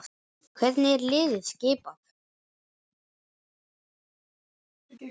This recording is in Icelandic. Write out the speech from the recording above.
Hvernig er liðið skipað?